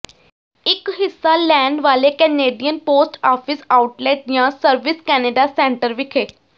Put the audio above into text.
ਇੱਕ ਹਿੱਸਾ ਲੈਣ ਵਾਲੇ ਕੈਨੇਡੀਅਨ ਪੋਸਟ ਆਫਿਸ ਆਉਟਲੈਟ ਜਾਂ ਸਰਵਿਸ ਕੈਨੇਡਾ ਸੈਂਟਰ ਵਿਖੇ